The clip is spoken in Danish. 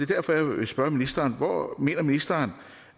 derfor jeg vil spørge ministeren hvor mener ministeren